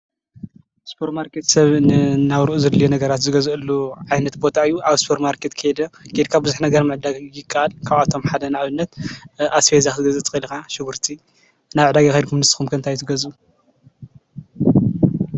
ስፖር ማርኬት ሰብ ንናብርኡ ዝገዝአሉ ዓይነት ቦታ እዩ። ኣብ ስፖር ማርኬት ከይድካ ብዝሕ ነገር ምዕዳግ ይካኣል ። ካብኣቶም ሓደ ንኣብነት ኣስቤዛ ክትገዝእ ትኽእል ኢካ ሽጉርቲ። ናብ ዕዳጋ ካይድኩም ንስኩም ከ እንታይ ትገዝኡ?